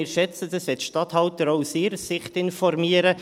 Wir schätzen es, wenn die Statthalter auch aus ihrer Sicht informieren.